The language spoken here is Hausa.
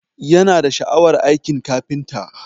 Yana da sha'awar aikin kafinta